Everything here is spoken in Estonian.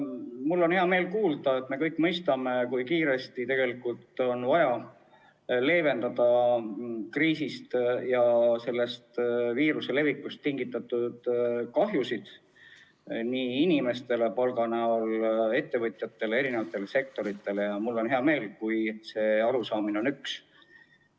Mul on hea meel kuulda, et me kõik mõistame, kui kiiresti on vaja leevendada kriisist ja viiruse levikust tingitud kahjusid inimestele , ettevõtjatele, eri sektoritele, ning mul on hea meel, et see arusaamine on üks.